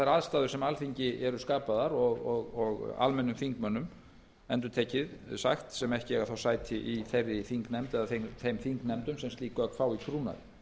aðstæður sem alþingi eru skapaðar og almennum þingmönnum sem ekki eiga sæti í þeirri þingnefnd eða þeim þingnefndum sem slík gögn fá í trúnaði